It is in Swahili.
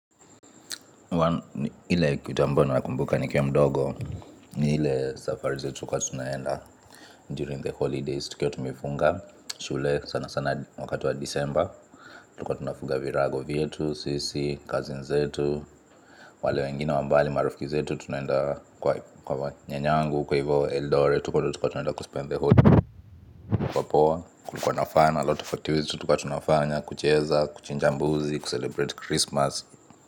Ile kutambua nakumbuka nikiwa mdogo. Ile safari zetu tulikuwa tunaenda During the holidays tukiwa tumefunga shule sana sana wakati wa December Tulikuwa tunafunga virago vyetu, sisi, cousin zetu. Wale wengine wa mbali marafiki zetu tunaenda kwa nyanyangu, huko hivo eldoret. Tulikuwa tunaenda kuspend the holiday. Kulikuwa na fun, alot of activities tulikuwa tunafanya. Kucheza, kuchinja mbuzi, kucelebrate Christmas.